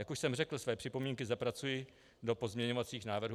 Jak už jsem řekl, své připomínky zapracuji do pozměňovacích návrhů.